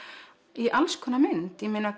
í alls konar mynd ég meina